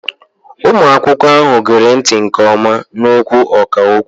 Ụmụ akwụkwọ ahụ gere ntị nke ọma n'okwu ọkà okwu.